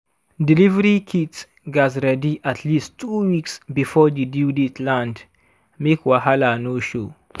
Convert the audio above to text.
delivery kit gats ready at least two weeks before the due date land make wahala no show.